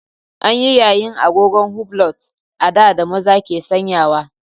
An yi yayin agogon hublot a da da maza ke sanyawa.